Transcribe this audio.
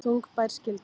Þungbær skylda